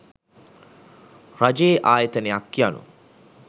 රජයේ ආයතනයක් යනු